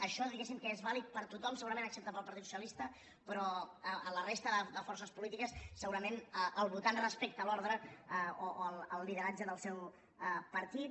això diguéssim que és vàlid per a tothom excepte per al partit socialista però a la resta de forces polítiques segurament el votant respecta l’ordre o el lideratge del seu partit